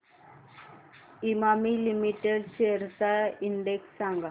Emami limited shares चा index सांगा